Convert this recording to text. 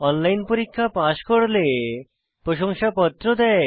online পরীক্ষা pass করলে প্রশংসাপত্র দেয়